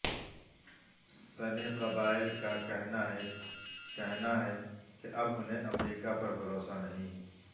سنی قبائل کا کہنا ہے کہنا ہے کہ اب انہیں امریکہ پر بھروسہ نہیں